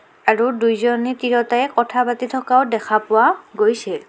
আৰু দুইজনী তিৰোতা এ কথা পাতি থকাও দেখা পোৱা গৈছে.